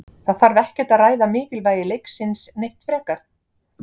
Það þarf ekkert að ræða mikilvægi leiksins neitt frekar.